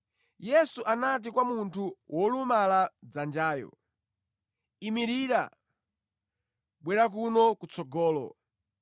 Yesu anati kwa munthu wolumala dzanjayo, “Imirira, bwera kuno kutsogolo.”